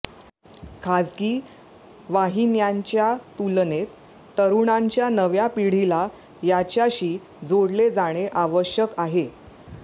खासगी वाहिन्यांच्या तुलनेत तरूणांच्या नव्या पिढीला याच्याशी जोडले जाणे आवश्यक आहे